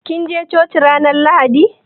Kin je coci ranan lahaɗi?